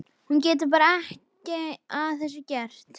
Hún getur bara ekki að þessu gert.